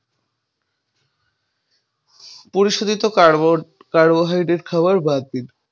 পরিশোধিত carbo carbohydrate খাওয়াও বাদ দিন।